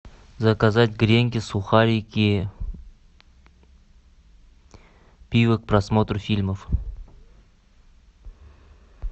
заказать гренки сухарики пиво к просмотру фильмов